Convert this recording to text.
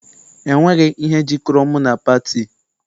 E nweghị ihe jikọrọ mụ na pati.